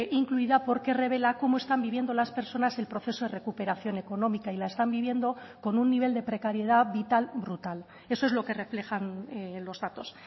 incluida porque revela cómo están viviendo las personas el proceso de recuperación económica y la están viviendo con un nivel de precariedad vital brutal eso es lo que reflejan los datos